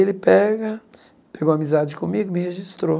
Ele pega pegou amizade comigo me registrou.